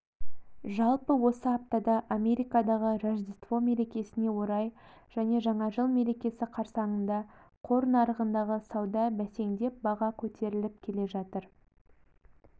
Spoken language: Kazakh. жалпы осы аптада америкадағы рождество мерекесіне орай және жаңа жыл мерекесі қарсаңында қор нарығындағы сауда бәсеңдеп баға көтеріліп келе жатыр